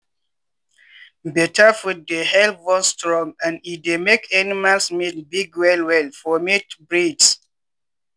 better food dey help bone strong and e dey make animals meat big well well for meat breeds.